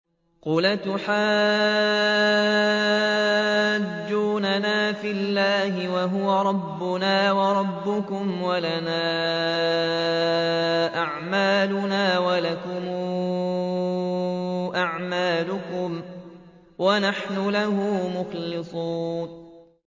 قُلْ أَتُحَاجُّونَنَا فِي اللَّهِ وَهُوَ رَبُّنَا وَرَبُّكُمْ وَلَنَا أَعْمَالُنَا وَلَكُمْ أَعْمَالُكُمْ وَنَحْنُ لَهُ مُخْلِصُونَ